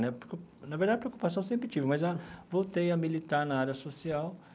Na época na verdade, a preocupação eu sempre tive, mas a voltei a militar na área social.